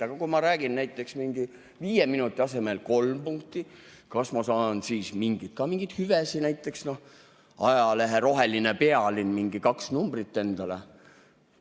Aga kui ma räägin näiteks mingi viie minuti asemel kolm, kas ma saan siis ka mingeid hüvesid, näiteks ajalehe Roheline Pealinn mingi kaks numbrit endale?